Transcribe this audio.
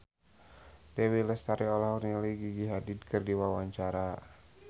Dewi Lestari olohok ningali Gigi Hadid keur diwawancara